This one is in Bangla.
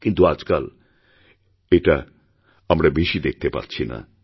কিন্তু আজকাল এটা আমরাবেশি দেখতে পাচ্ছি না